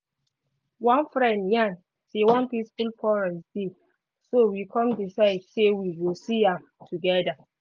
one friend yarn say one peaceful forest dey so we come decide say we go see am together.